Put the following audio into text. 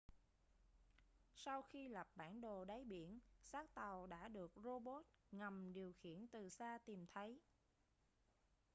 sau khi lập bản đồ đáy biển xác tàu đã được rô bốt ngầm điều khiển từ xa tìm thấy